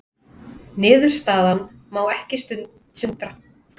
Niðurstaðan má ekki sundra